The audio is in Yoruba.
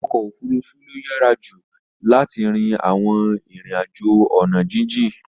Okofurufu lo yara ju lart rin awon rin ajo ona jijin